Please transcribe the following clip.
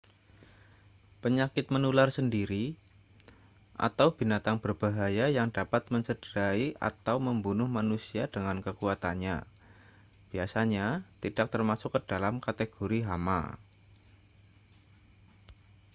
penyakit menular sendiri atau binatang berbahaya yang dapat mencederai atau membunuh manusia dengan kekuatannya biasanya tidak termasuk ke dalam kategori hama